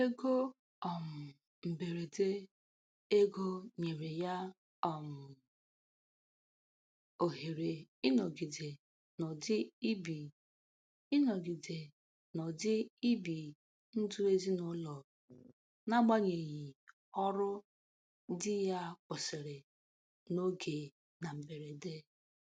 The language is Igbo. Ego um mberede ego nyere ya um ohere ịnọgịde n'ụdị ibi ịnọgịde n'ụdị ibi ndụ ezinụlọ n'agbanyeghị ọrụ dị ya kwụsịrị n'oge na mberede.